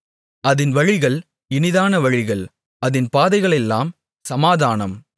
அதின் வழிகள் இனிதான வழிகள் அதின் பாதைகளெல்லாம் சமாதானம்